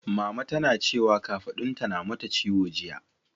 Mama tana cewa kafaɗunta na mata ciwo jiya.